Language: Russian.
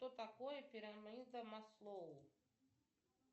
что такое пирамида маслоу